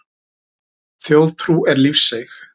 Þjóðtrú er lífseig.